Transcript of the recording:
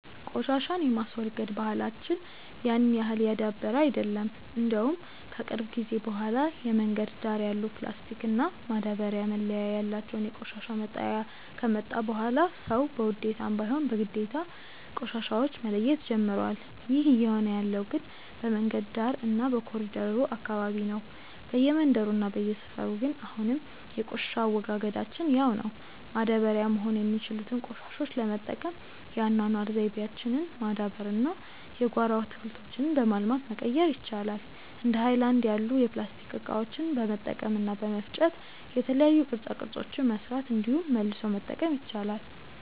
ቆሻሻን የማስወገድ ባህላች ያን ያህል የዳበረ አይደለም። እንደውም ከቅርብ ጊዜ በኋላ የመንገድ ዳር ያሉ ፕላስቲክ እና ማዳበርያ መለያ ያላቸው የቆሻሻ መጣያ ከመጣ በኋላ ሰዉ በውዴታም ባይሆን በግዴታ ቆሻሻዎች መለየት ጀምሮዋል። ይህ እየሆነ ያለው ግን በመንገድ ዳር እና በኮሪደሩ አካባቢ ነው። በየመንደሩ እና በየሰፈሩ ግን አሁንም የቆሻሻ አወጋገዳችን ያው ነው። ማዳበሪያ መሆን የሚችሉትን ቆሻሾች ለመጠቀም የአኗኗር ዘይቤያችንን ማዳበር እና የጓሮ አትክልቶችን በማልማት መቀየር ይቻላል። እንደ ሀይለናድ ያሉ የፕላስቲክ እቃዎችን በመልቀም እና በመፍጨ የተለያዩ ቅርፃ ቅርፆችን መስራት እንዲሁም መልሶ መጠቀም ይቻላል።